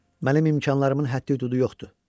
Mənim imkanlarımın həddi-hüdudu yoxdur.